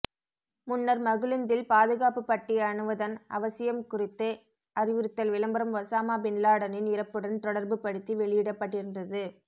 முன்னர் மகிழுந்தில் பாதுகாப்பு பட்டி அணிவதன் அவசியம் குறித்து அறிவுறுத்தல் விளம்பரம் ஒஸாமா பின்லாடனின் இறப்புடன் தொடர்பு படுத்தி வெளியிடப்பட்டிருந்தது